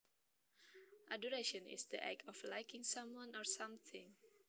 Adoration is the act of liking someone or something